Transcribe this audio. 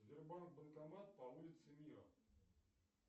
сбербанк банкомат по улице мира